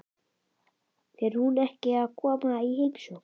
Fer hún ekki að koma í heimsókn?